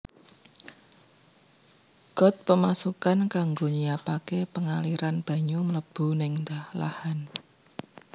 Got Pemasukan kanggo nyiapaké pengaliran banyu mlebu ning lahan